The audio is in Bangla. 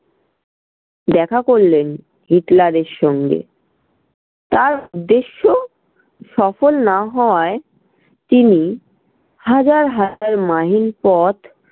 দেখা করলেন হিটলারের সঙ্গে। তার উদ্দেশ্য সফল না হওয়াই তিনি হাজার হাজার mile পথ